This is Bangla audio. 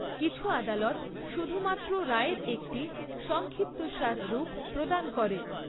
কিছু আদালত শুধুমাত্র রায়ের একটি সংক্ষিপ্তসার রূপ প্রদান করে।